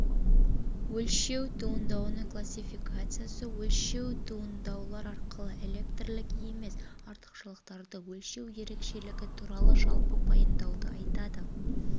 өлшеу туындауының классификациясы өлшеу туындаулар арқылы электрлік емес артықшылықтарды өлшеу ерекшелігі туралы жалпы пайымдауды айтады